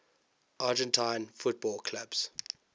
argentine football clubs